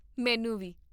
ਮੈਨੂੰ ਵੀ